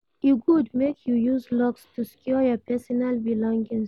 E good make you use locks to secure your pesinal belongings.